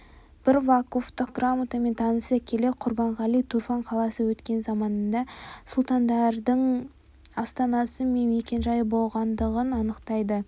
бір вакуфтық грамотамен таныса келе құрбанғали турфан қаласы өткен заманда сұлтандардың астанасы мен мекен-жайы болғандығын анықтайды